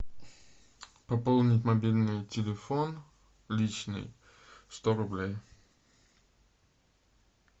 пополнить мобильный телефон личный сто рублей